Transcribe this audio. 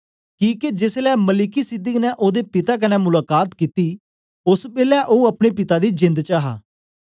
किके जेसलै मलिकिसिदक ने ओदे पिता कन्ने मुलाका त कित्ती ओस बेलै ओ अपने पिता दी जेंद च हा